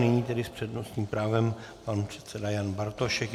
Nyní tedy s přednostním právem pan předseda Jan Bartošek.